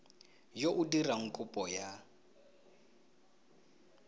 yo o dirang kopo ya